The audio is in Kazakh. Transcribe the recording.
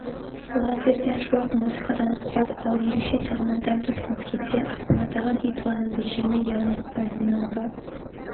лазерден шуақ музыкадан қуат ал ерекше тағамнан дәм татқыңыз келсе астанадағы литваның бөлшегімен яғни павильонға